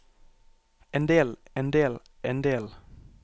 endel endel endel